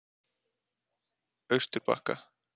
Austurbakka